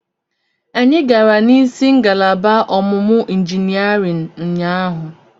Anyị gara n'isi ngalaba ọmụmụ injiniarịn ụnyaahụ.